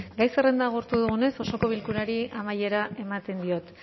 gai zerrenda agortu dugunez osoko bilkurari amaiera ematen diot